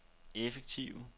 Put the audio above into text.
effektive